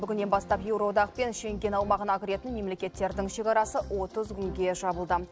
бүгіннен бастап еуроодақ пен шенген аумағына кіретін мемлекеттердің шекарасы отыз күнге жабылды